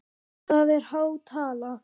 Það er há tala.